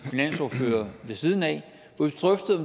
finansordfører ved siden af hvor